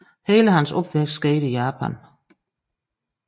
Hele hans opvækst skete i Japan